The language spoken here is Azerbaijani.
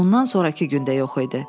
Ondan sonrakı gün də yox idi.